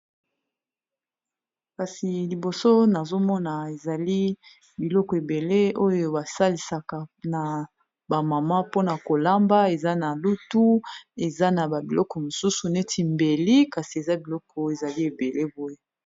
kasi liboso nazomona ezali biloko ebele oyo basalisaka na bamama mpona kolamba eza na lutu eza na babiloko mosusu neti mbeli kasi eza biloko ezali ebele boye